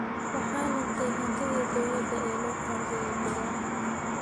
Waxaa luntay hantidii dowladda ee loo qoondeeyay beeraha.